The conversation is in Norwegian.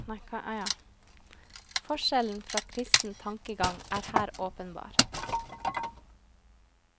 Forskjellen fra kristen tankegang er her åpenbar.